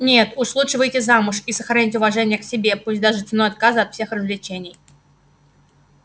нет лучше уж выйти замуж и сохранить уважение к себе пусть даже ценой отказа от всех развлечений